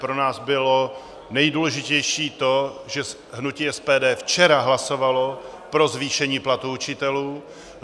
Pro nás bylo nejdůležitější to, že hnutí SPD včera hlasovalo pro zvýšení platů učitelů.